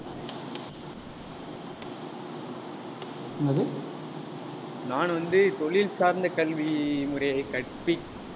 நான் வந்து தொழில் சார்ந்த கல்வி முறைய கற்பி~